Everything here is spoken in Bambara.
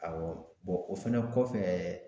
Awɔ o fɛnɛ kɔfɛ